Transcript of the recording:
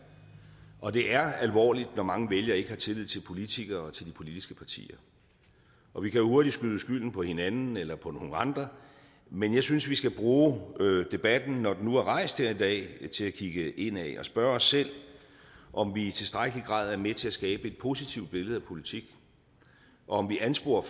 og det er alvorligt når mange vælgere ikke har tillid til politikere og til de politiske partier og vi kan jo hurtigt skyde skylden på hinanden eller på nogen andre men jeg synes vi skal bruge debatten når den nu er rejst her i dag til at kigge indad og spørge os selv om vi i tilstrækkelig grad er med til at skabe et positivt billede af politik og om vi ansporer